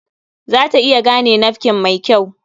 Za ta iya gane nafkin mai kyau.